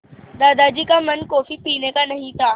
दादाजी का मन कॉफ़ी पीने का नहीं था